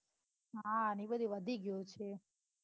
હા ને ઉપરથી વધી ગયું છે.